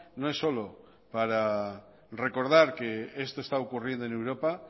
no es solo para recordar que esto está ocurriendo en europa